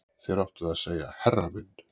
Þér áttuð að segja herra minn